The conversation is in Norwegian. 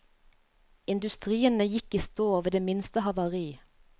Industriene gikk i stå ved det minste havari.